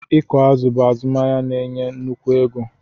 Ịkụ azụ̀ bụ azụmahịa na-enye nnukwu ego.